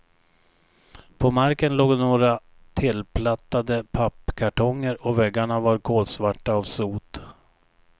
På marken låg några tillplattade pappkartonger, och väggarna var kolsvarta av sot.